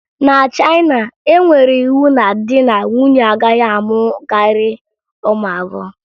Na Chayịna, e nyere iwu na di na nwunye agaghị amụ karịa ụmụ abụọ